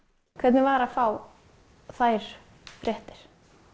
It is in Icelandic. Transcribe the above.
hvernig var að fá þær fréttir